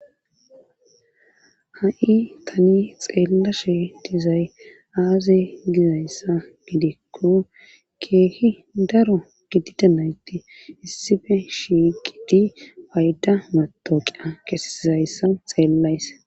Ha'i tani xeellashe dizay aaze gizayssa midikko keehi daro gidida nayti issife shigidi payda matoqia kesizayssa xeellays.